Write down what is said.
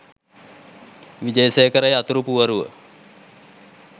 විජේසේකර යතුරු පුවරුව